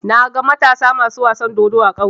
Naga Matasa masu wasan dodo a ƙauye.